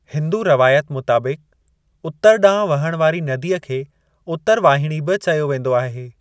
हिन्दू रवायत मुताबिक़, उतर ॾांहुं वहण वारी नदीअ खे उतरवाहिणी बि चयो वेंदो आहे।